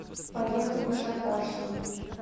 поехали шарташский